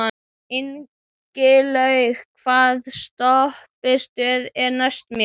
Ingilaug, hvaða stoppistöð er næst mér?